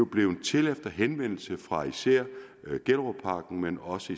blevet til efter henvendelse fra især gjellerupparken men også